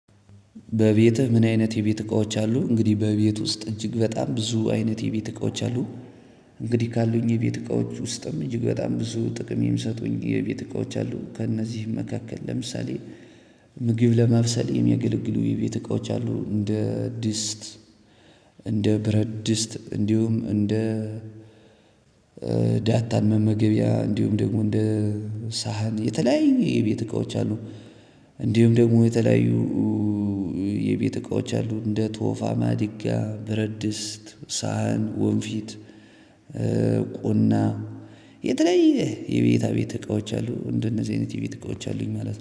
በቤትህ ምን አይነት የቤት እቃዎች አሉ? እንግዲህ በቤት ውስጥ እጅግ በጣም ብዙ አይነት የቤት እቃዎች አሉ። እንግዲህ ካሉኝ የቤት እቃዎች ውስጥም እጅግ በጣም ብዙ ጥቅም የምሰጡኝ የቤት እቃዎች አሉ ከእነዚህም መካከል ለምሳሌ ምግብ ለማብሰል የሚያገለግሉ የቤት እቃዎች አሉ። እንደ ድስት እንደ ብረት ድስት እንዲሁም እንደ ዳታን መመገቢያ እንዲሁም ደግሞ እንደ ሳህን የተለያዩ የቤት እቃዎች አሉ። እንዲሁም ደግሞ የተለያዩ የቤት እቃዎች አሉ እንደ ቶፋ ማድጊያ በረድስት ሳህን ወንፊት ቁና የተለያየ የቤታ ቤት እቃዎች አሉ። እንደነዚ አይነት የቤት እቃዎች አሉኝ ማለት ነው